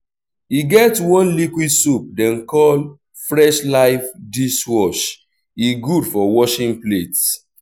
e get one liquid soap dem call fresh-life dishwash e gud for washing plates